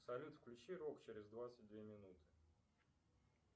салют включи рок через двадцать две минуты